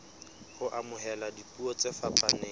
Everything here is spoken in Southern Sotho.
ho amohela dipuo tse fapaneng